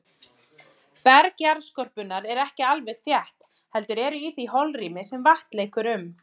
Berg jarðskorpunnar er ekki alveg þétt, heldur eru í því holrými sem vatn leikur um.